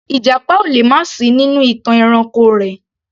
Ìjàpá ò lè má sì í nínú ìtàn ẹranko rẹ̀